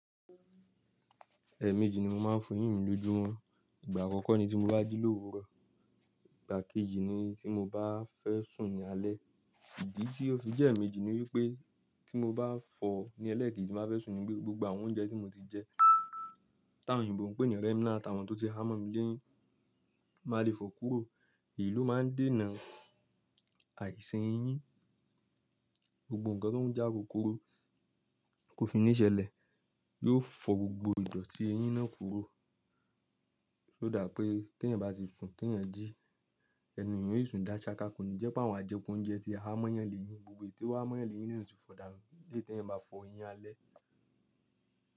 Ẹẹ̀ méjì ni mo máa ń fọ eyín mi lójú mọ̀. Ìgbà àkọ́kọ́ ni tí mo bá jí l’òwúrọ̀, ìgbà kejì ni tí mo bá fẹ́ sùn ní alẹ́. Ìdí tí ó fi jẹ́ ẹ́ méjì ni wípé tí mo bá fọ̀ ni ẹlẹ́ẹ̀kejì tí máa fẹ́ sùn ni wípé gbogbo àwọn oúnjẹ tí mo ti jẹ, táwọn òyìnbó npè ní remnant táwọn tó ti há mọ́ mi léyín, máa lè fọ́ kúrò. Èyí ló máa ń dènà àìsàn eyín. Gbogbo nǹkan tó ń jẹ́ àkókò ro kò fi ní ṣẹlẹ̀, yóò fọ́ gbogbo ìdọ̀tí eyín náà kúrò. Ó dà pé tí ẹ̀yin bá ti sún, tí ẹ̀yin jí, ẹnu èyàn yóò tùn dáṣakà. Kò ní jẹ́ pé àwọn ajẹkú oúnjẹ́ tí há mọ́ yan lè yín, gbogbo èyí tó há mọ́ yan lè yín lèyan óò ti fọ̀ dànù. Lé tí ẹ̀yin bá fọ eyín alẹ́.